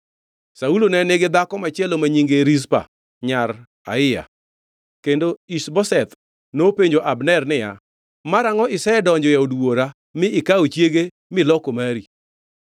Saulo ne nigi dhako machielo ma nyinge Rizpa nyar Aiya. Kendo Ish-Boseth nopenjo Abner niya, “Marangʼo isedonjo e od wuora mi ikawo chiege miloko mari?”